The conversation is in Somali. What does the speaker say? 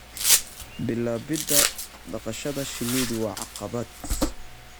Bilaabida dhaqashada shinnidu waa caqabad.